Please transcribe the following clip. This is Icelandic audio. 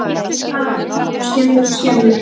Hann talar og talar og skelfur og skelfur.